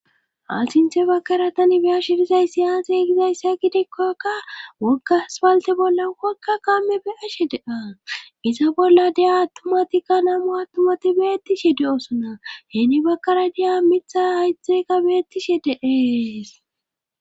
Asinthe bakara tani biya shirizay si yaase gizayssa gidekkokka woggaspalte bolla wokka kamme be ashe de'a iza bolla de'a attumatikka namu attumati beettishe de'osona heeni bakara deya mitha haytxheka beettishe deees.